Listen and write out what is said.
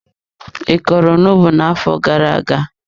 I kọrọ onugbu na-afo gara aga.?